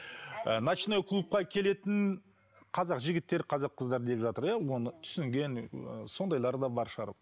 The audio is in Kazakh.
ыыы ночной клубка келетін қазақ жігіттері қазақ қыздары деп жатыр иә оны түсінген ы сондайлар да бар шығар